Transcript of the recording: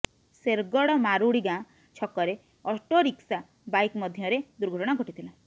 ଶେରଗଡ ମାରୁଡି ଗାଁ ଛକରେ autorickshaw bike ମଧ୍ୟରେ ଦୁର୍ଘଟଣା ଘଟିଥିଲା